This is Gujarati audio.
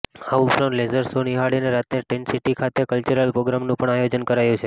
આ ઉપરાંત લેસર શો નિહાળીને રાત્રે ટેન્ટ સિટી ખાતે કલ્ચરલ પ્રોગ્રામનું પણ આયોજન કરાયું છે